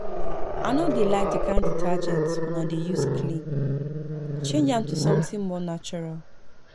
I no dey like the kin detergent una dey use clean, change am to something more natural